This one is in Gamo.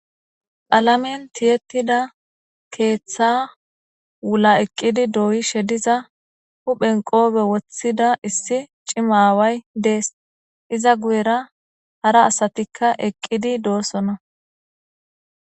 qalamen tiyettida keeththa wula eqqidi dooyi shediza huphen qoobe woththida issi cimaaway dees iza guyera hara asatikka eqqidi doorsona